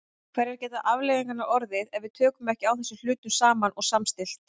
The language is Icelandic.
Hverjar geta afleiðingarnar orðið ef við tökum ekki á þessum hlutum saman og samstillt?